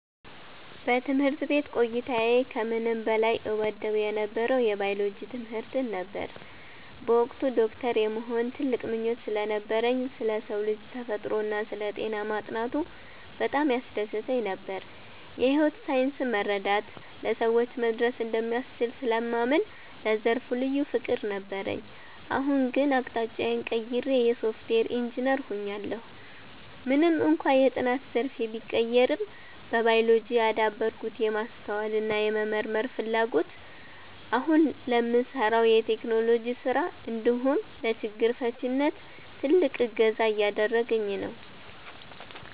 በትምህርት ቤት ቆይታዬ ከምንም በላይ እወደው የነበረው የባዮሎጂ ትምህርትን ነበር። በወቅቱ ዶክተር የመሆን ትልቅ ምኞት ስለነበረኝ፣ ስለ ሰው ልጅ ተፈጥሮና ስለ ጤና ማጥናቱ በጣም ያስደስተኝ ነበር። የሕይወት ሳይንስን መረዳት ለሰዎች መድረስ እንደሚያስችል ስለማምን ለዘርፉ ልዩ ፍቅር ነበረኝ። አሁን ግን አቅጣጫዬን ቀይሬ የሶፍትዌር ኢንጂነር ሆኛለሁ። ምንም እንኳን የጥናት ዘርፌ ቢቀየርም፣ በባዮሎጂ ያዳበርኩት የማስተዋልና የመመርመር ፍላጎት አሁን ለምሠራው የቴክኖሎጂ ሥራ እንዲሁም ለችግር ፈቺነት ትልቅ እገዛ እያደረገኝ ነው።